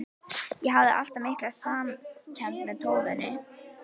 Ég hafði alltaf mikla samkennd með tófunni.